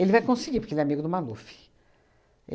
vai conseguir, porque ele é amigo do Maluf.